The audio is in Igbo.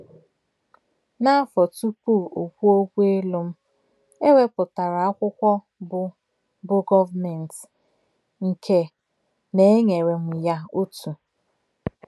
N’afọ tupu o kwuo okwu ịlụ m, e wepụtara akwụkwọ bụ́ bụ́ Government, nke na e nyere m ya otu.